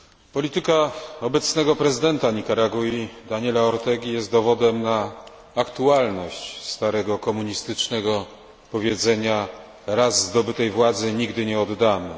Polityka obecnego prezydenta Nikaragui Daniela Ortegi jest dowodem na aktualność starego komunistycznego powiedzenia Raz zdobytej władzy nigdy nie oddamy.